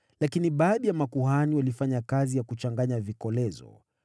Lakini baadhi ya makuhani walifanya kazi ya kuchanganya vikolezo.